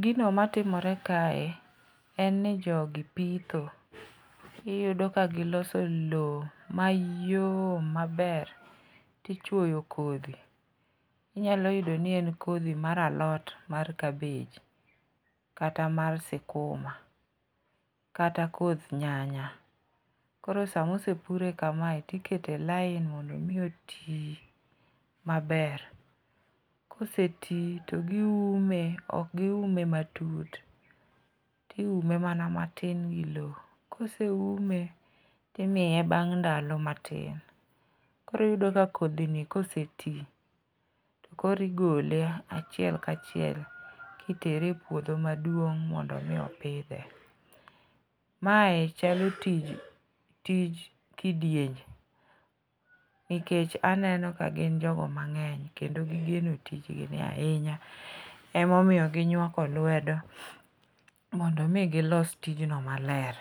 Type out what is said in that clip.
Gino matimore kae en ni jogi pitho, iyudo ka giloso lowo mayom maber, tichwoyo kodhi, inyalo yudo ni en kodhi mar alot mar kabej kata mar sikuma kata koth nyanya. Koro sama osepure kamae tiketo e lain mondo omi oti maber. koseti to giume, ok giume matut, tiume mana matin gi lowo. Koseume timiye bang' ndalo matin, koro iyudo ka kodhini koseti, koro igole achiel ka chiel kitere e puodho maduong' mondo omi opidhe. mae chalo tij kidienye, nikech aneno ka gin jogo mang'eny kendo gigeno tijgini ahinya, emomiyo ginywako lwedo mondo omi gilos tijno maler.